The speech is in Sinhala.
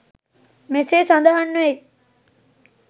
මෙසේ සඳහන්වෙයි